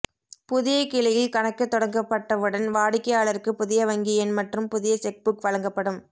புதிய கிளையில் கணக்கு தொடங்கப்பட்டவுடன் வாடிக்கையாளருக்கு புதிய வங்கி எண் மற்றும் புதிய செக் புக் வழங்கப்படும்